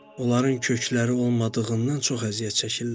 Onların kökləri olmadığından çox əziyyət çəkirlər.